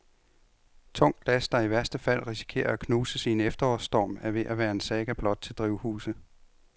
Tungt glas, der i værste fald risikerer at knuses i en efterårsstorm, er ved at være en saga blot til drivhuse.